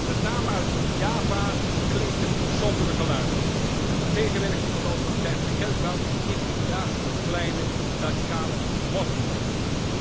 Met name uit Java klinken sombere geluiden tegenwerking van de autoriteiten bij kerkbouw en intimidatie door kleine radicale moslimgroepen.